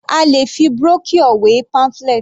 A lè fi Brochure wé pamphlet.